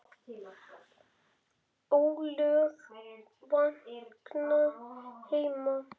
ólög vakna heima.